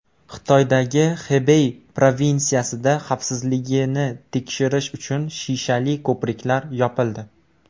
Xitoydagi Xebey provinsiyasida xavfsizligini tekshirish uchun shishali ko‘priklar yopildi.